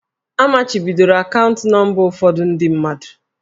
A machibidoro akaụntụ nọmba ụfọdụ ndị mmadụ.